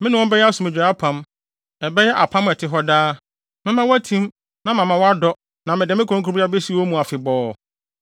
Me ne wɔn bɛyɛ asomdwoe apam, ɛbɛyɛ apam a ɛte hɔ daa. Mɛma wɔatim na mama wɔadɔ na mede me kronkronbea besi wɔn mu afebɔɔ.